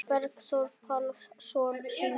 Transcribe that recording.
Bergþór Pálsson syngur.